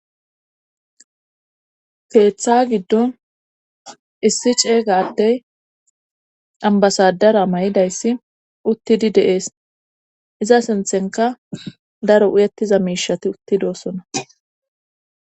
Keeththa giddon issi ceeyga addey ambasadara may7idayssi uttidi deees iza sinthenka daro uyettiza miishati uttidosona.